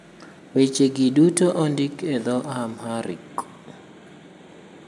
Wechegi duto ondik e dho - Amharic.